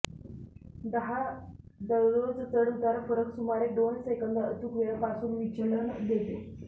दहा दररोज चढउतार फरक सुमारे दोन सेकंद अचूक वेळ पासून विचलन देते